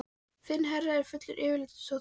Þinn herra er fullur yfirlætis og þótta.